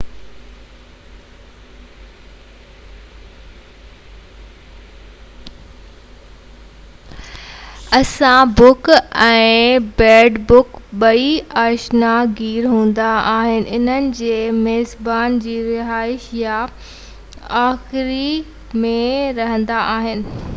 assassin bug ۽ bed bug ٻئي آشيانه گير هوندا آهن انهن جي ميزبان جي رهائش يا آخيري ۾ رهندا آهن